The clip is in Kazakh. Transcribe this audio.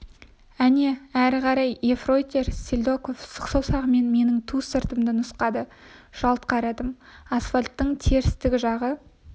әне әрі қара ефрейтор селедков сұқ саусағымен менің ту сыртымды нұсқады жалт қарадым асфальттың терістік жағы